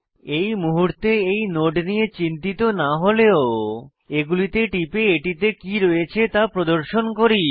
এই মুহূর্তে এই নোড নিয়ে চিন্তিত না হলেও এগুলিতে টিপে এটিতে কি রয়েছে তা প্রদর্শন করি